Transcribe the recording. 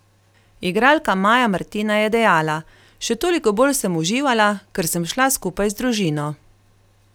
Igralka Maja Martina je dejala : "Še toliko bolj sem uživala, ker sem šla skupaj z družino".